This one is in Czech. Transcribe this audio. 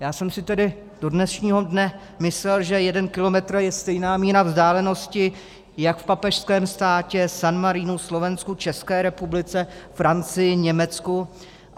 Já jsem si tedy do dnešního dne myslel, že jeden kilometr je stejná míra vzdálenosti jak v papežském státě San Marinu, Slovensku, České republice, Francii, Německu.